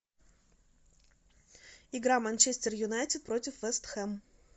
игра манчестер юнайтед против вест хэм